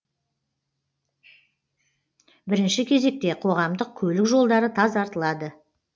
бірінші кезекте қоғамдық көлік жолдары тазартылады